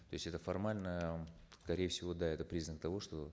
то есть это формально скорее всего да это признак того что